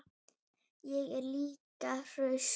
Ég er líka hraust.